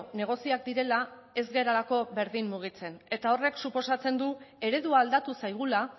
negozioak direla ez garelako berdin mugitzen eta horrek suposatzen du eredua aldatu zaigula